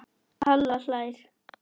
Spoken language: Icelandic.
Halla hlær.